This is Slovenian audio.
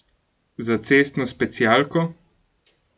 Za cestno specialko?